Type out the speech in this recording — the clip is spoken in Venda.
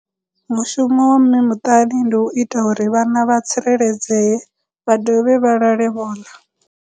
Mushumo wa mme muṱani ndi u ita uri vhana vha tsireledzeye vha dovhe vha lale vho ḽa.